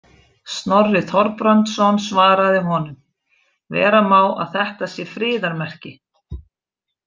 Snorri Þorbrandsson svaraði honum: Vera má að þetta sé friðarmerki.